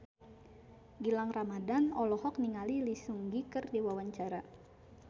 Gilang Ramadan olohok ningali Lee Seung Gi keur diwawancara